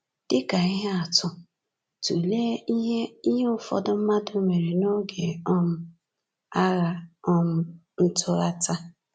Dị ka ihe atụ, tụlee ihe ihe ụfọdụ mmadụ mere n’oge um Agha um Ntụghata.